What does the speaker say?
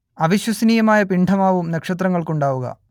അവിശ്വസനീയമായ പിണ്ഡമാവും നക്ഷത്രങ്ങൾക്കുണ്ടാവുക